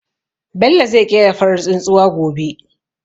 Bello zai ƙera farar tsuntsuwa gobe.